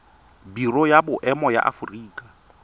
biro ya boemo ya aforika